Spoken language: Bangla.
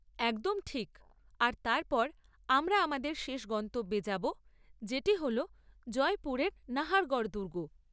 একদম ঠিক। আর তারপর আমরা আমাদের শেষ গন্তব্যে যাব, যেটি হল জয়পুরের নাহারগড় দুর্গ।